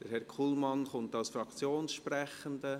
Herr Kullmann kommt als Fraktionssprechender.